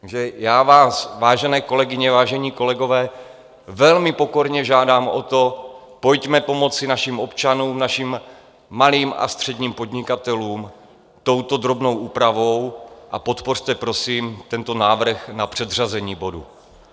Takže já vás, vážené kolegyně, vážení kolegové, velmi pokorně žádám o to, pojďme pomoci našim občanům, našim malým a středním podnikatelům touto drobnou úpravou a podpořte prosím tento návrh na předřazení bodu.